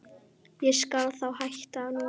Ég skal þá hætta núna.